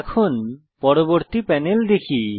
এখন পরবর্তী প্যানেল দেখি